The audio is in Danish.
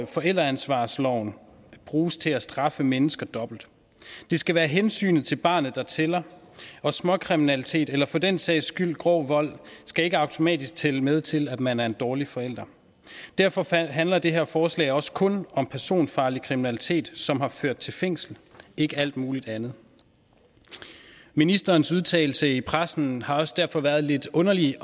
forældreansvarsloven bruges til at straffe mennesker dobbelt det skal være hensynet til barnet der tæller og småkriminalitet eller for den sags skyld grov vold skal ikke automatisk tælle med til at man er en dårlig forælder derfor handler det her forslag også kun om personfarlig kriminalitet som har ført til fængsel ikke alt muligt andet ministerens udtalelse i pressen har også derfor været lidt underlig